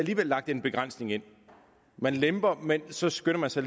lagt en begrænsning ind man lemper men så skynder man sig